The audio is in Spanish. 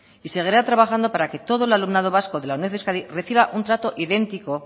y seguirá trabajando para que todo el alumnado vasco de la uned de euskadi reciba un trato idéntico